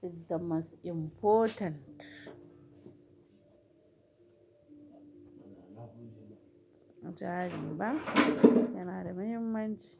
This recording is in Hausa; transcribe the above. It's the most important. Jari ba yana da muhimmanci.